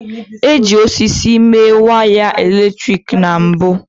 E ji osisi mee wiaya eletrik na mbu